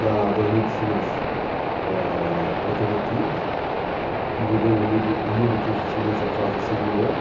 das medicinas a alternativas, divulgando o mundo que os chineses já fazem há 6 mil anos.